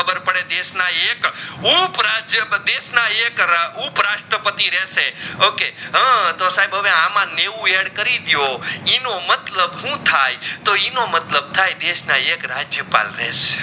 પડે દેશ ના એક ઉપરાજ્ય પ્રદેશ ના એક ઉપરસ્ત્રપતિ રહસે okay હા તો સાહેબ આમાં નેવ add ડેઓ ઇનો મતલબ હું થઈ તો ઇનો મતલબ થઈ દેશ ના એક રાજ્યપાલ રહસે